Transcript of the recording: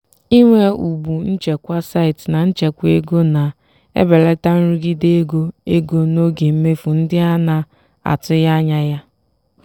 inwe ụgbụ nchekwa site na nchekwa ego na-ebelata nrụgide ego ego n'oge mmefu ndị a na-atụghị anya ya.